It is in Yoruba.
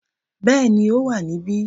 Yes, it's here